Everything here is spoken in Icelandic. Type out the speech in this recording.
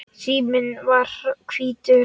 Síminn var hvítur.